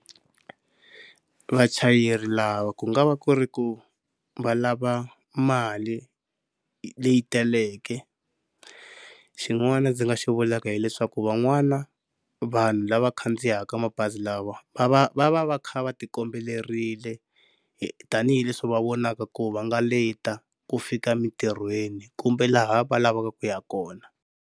Vachayeri lava ku nga va ku ri ku va lava mali leyi taleke, xin'wana ndzi nga xi vulaka hileswaku van'wana vanhu lava khandziyaka mabazi lawa va va va va va kha va ti kombelerile tanihileswi va vonaka ku va nga leta ku fika emintirhweni kumbe laha va lavaka ku ya kona.